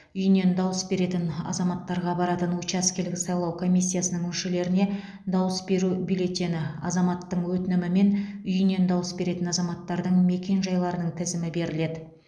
үйінен дауыс беретін азаматтарға баратын учаскелік сайлау комиссиясының мүшелеріне дауыс беру бюллетені азаматтың өтінімі мен үйінен дауыс беретін азаматтардың мекенжайларының тізімі беріледі